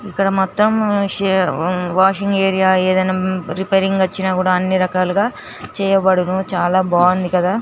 ఇక్కడ మొత్తము శే వాషింగ్ ఏరియా ఏదైనా రిపేరింగ్ కి వచ్చినా కూడా అన్ని రకాలుగా చేయబడును చాలా బాగుంది కదా.